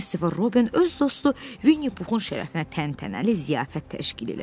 Kristofer Robin öz dostu Vinni Puxun şərəfinə təntənəli ziyafət təşkil elədi.